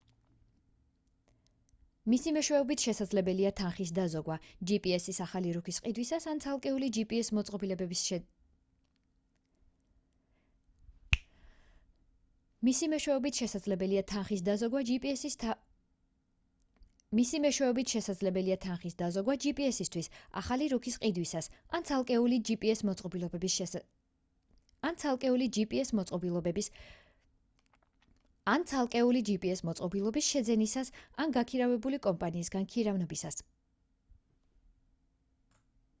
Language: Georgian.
მისი მეშვეობით შესაძლებელია თანხის დაზოგვა gps-თვის ახალი რუქის ყიდვისას ან ცალკეული gps მოწყობილობის შეძენისას ან გამქირავებელი კომპანიისგან ქირავნობისას